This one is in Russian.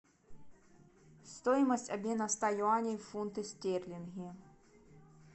стоимость обмена ста юаней в фунты стерлинги